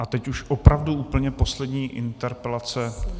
A teď už opravdu úplně poslední interpelace...